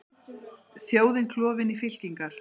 Þjóðin klofin í fylkingar